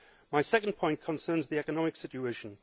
My second point concerns the economic situation.